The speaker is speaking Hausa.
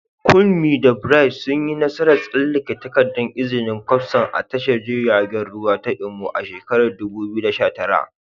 Kunmi da Bright sun yi nasarar tsallake takardar izinin kwastam a tashar jiragen ruwa ta Imo a shekarar 2019.